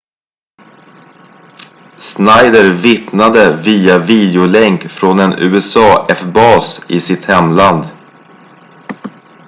schneider vittnade via videolänk från en usaf-bas i sitt hemland